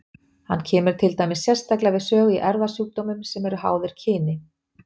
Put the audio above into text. Hann kemur til dæmis sérstaklega við sögu í erfðasjúkdómum sem eru háðir kyni.